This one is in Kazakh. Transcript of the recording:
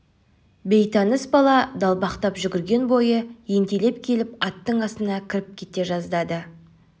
бейтаныс бала далбақтап жүгірген бойы ентелеп келіп аттың астына кіріп кете жаздады